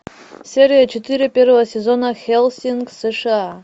серия четыре первого сезона хеллсинг сша